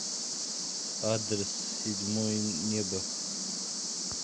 адрес седьмое небо